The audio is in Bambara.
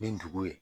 Ni dugu ye